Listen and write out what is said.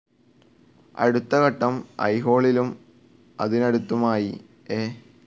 അടുത്ത ഘട്ടം അയ്ഹോളിലും അതിനടുത്തുമായി എ.